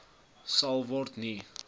sal word nie